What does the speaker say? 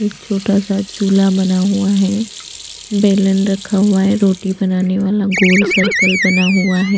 एक छोटा सा चूल्हा बना हुआ है बेलन रखा हुआ है रोटी बनाने वाला गोल सर्कल बना हुआ है।